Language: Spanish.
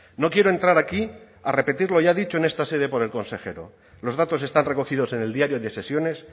no quiero entrar aquí a repetir lo ya dicho en esta sede por el consejero los datos están recogidos en el diario de sesiones